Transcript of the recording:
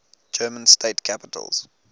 german state capitals